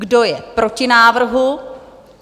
Kdo je proti návrhu?